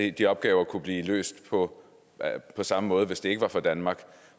at de opgaver kunne blive løst på samme måde hvis det ikke var for danmark